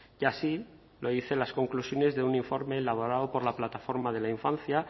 y así lo dicen las conclusiones de un informe elaborado por la plataforma de la infancia